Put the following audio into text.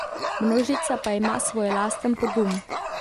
Množica pa ima svoj lasten pogum.